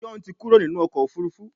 John tí Kúrò nínú ọkọ̀ òfurufú.